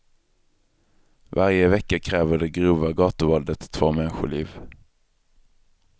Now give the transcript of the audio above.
Varje vecka kräver det grova gatuvåldet två människoliv.